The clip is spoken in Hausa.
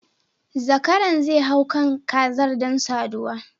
Zakaran zai hau kan kazar don saduwa